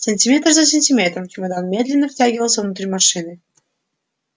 сантиметр за сантиметром чемодан медленно втягивался внутрь машины